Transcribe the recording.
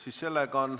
Ei ole.